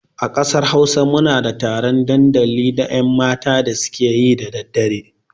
A ƙasar Hausa muna da taron ɗandali na 'yanmata da su ke yi da daddare.